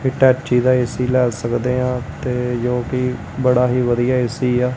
Hitachi ਦਾ AC ਲਏ ਸਕਦੇ ਹਾਂ ਤੇ ਜੋਕਿ ਬੜਾ ਹੀ ਵਧੀਆ ਐ_ਸੀ ਆ।